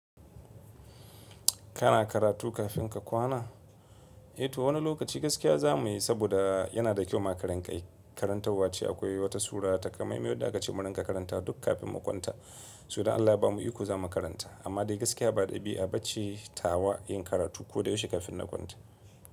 Kana karatu kafin ka kwana? Eh to wani lokaci gaskiya za muyi saboda yana da kyau ma karinka yi. Karantawwace akwai wata sura takamaimai wadda aka ce mu rinka karanta duk kafin mu kwanta. Soh idan Allah ba mu iko za mu karanta amma dai gaskiya ba ɗabi'a ba ce tawa yin karatu ko da yaushe kafin na kwanta.